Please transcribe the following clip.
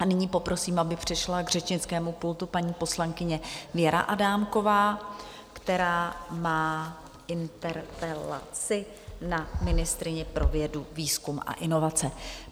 A nyní poprosím, aby přišla k řečnickému pultu paní poslankyně Věra Adámková, která má interpelaci na ministryni pro vědu, výzkum a inovace.